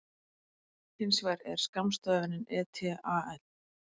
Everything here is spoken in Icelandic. Hins vegar er skammstöfunin et al.